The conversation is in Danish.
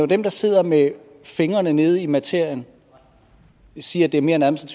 dem der sidder med fingrene nede i materien der siger at det mere er en